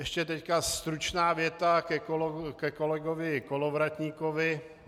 Ještě teď stručná věta ke kolegovi Kolovratníkovi.